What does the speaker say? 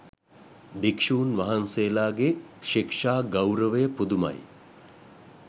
භික්ෂූන් වහන්සේලාගේ ශික්ෂා ගෞරවය පුදුමයි